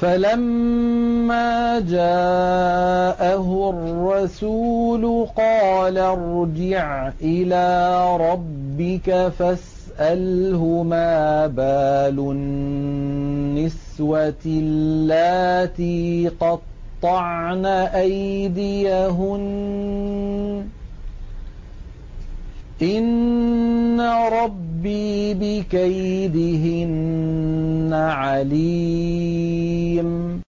فَلَمَّا جَاءَهُ الرَّسُولُ قَالَ ارْجِعْ إِلَىٰ رَبِّكَ فَاسْأَلْهُ مَا بَالُ النِّسْوَةِ اللَّاتِي قَطَّعْنَ أَيْدِيَهُنَّ ۚ إِنَّ رَبِّي بِكَيْدِهِنَّ عَلِيمٌ